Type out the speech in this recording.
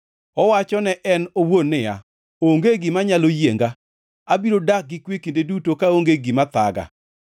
Owacho ne en owuon niya, “Onge gima nyalo yienga; abiro dak gi kwe kinde duto kaonge gima thaga.”